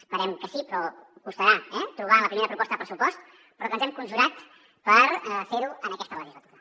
esperem que sí però costarà eh trobar la en la primera proposta de pressupost però que ens hem conjurat per fer ho en aquesta legislatura